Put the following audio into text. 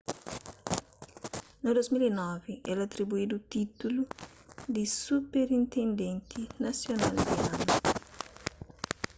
na 2009 el atribuídu títulu di superintendenti nasional di anu